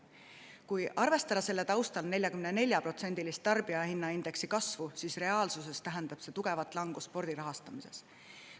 Kui arvestada selle taustal 44%‑list tarbijahinnaindeksi kasvu, siis reaalsuses tähendab see tugevat langust spordi rahastamises.